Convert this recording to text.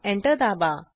enter दाबा